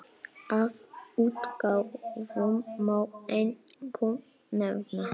Af útgáfum má einkum nefna